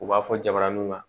U b'a fɔ jabaraniw kan